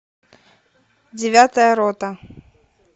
девятая рота